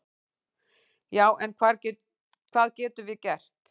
"""Já, en hvað getum við gert?"""